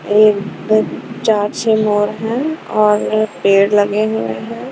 ये चार छह है और पेड़ लगे हुए हैं.